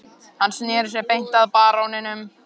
Hann sneri sér beint að baróninum